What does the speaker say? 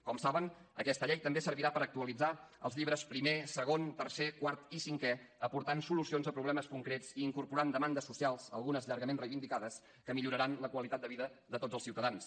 com saben aquesta llei també servirà per actualitzar els llibres primer segon tercer quart i cinquè aportant solucions a problemes concrets i incorporant demandes socials algunes llargament reivindicades que milloraran la qualitat de vida de tots els ciutadans